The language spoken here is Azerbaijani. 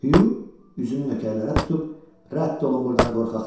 Hüq üzünü nökərlərə tutub, "Rədd olun burdan, qorxaqlar!